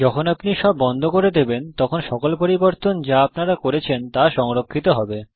যখন আপনি সব বন্ধ করে দেবেন তখন সকল পরিবর্তন যা আপনারা করেছেন তা সংরক্ষিত হবে